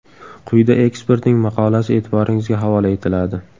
Quyida ekspertning maqolasi e’tiboringizga havola etiladi.